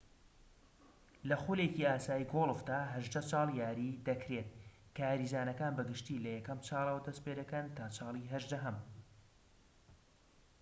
لە خولێکی ئاسایی گۆڵفدا هەژدە چاڵ یاری دەکرێت کە یاریزانەکان بە گشتی لە یەکەم چالەوە دەست پێدەکەن تا چاڵی هەژدەهەم